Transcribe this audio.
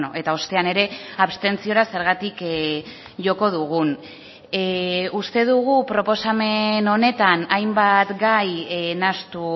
eta ostean ere abstentziora zergatik joko dugun uste dugu proposamen honetan hainbat gai nahastu